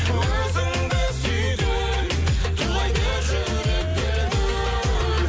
өзіңді сүйген тулайды жүрек дүл дүл